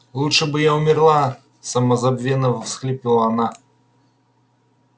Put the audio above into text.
лучше бы я умерла самозабвенно всхлипывала она